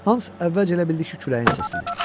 Hans əvvəlcə elə bildi ki, küləyin səsidir.